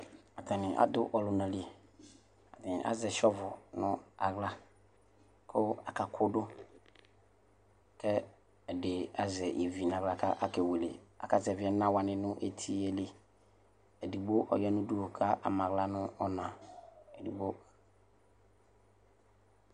atani adʋ ɔlʋnali atani azɛ NA nʋ aɣla kʋ aka kʋdʋ kɛdi azɛ ivi nʋ aɣla kʋ akewele aka zɛvi ɛnawani nʋ etiɛli edigbo ɔya nʋ ʋdʋnʋ kama aɣla nʋ ɔna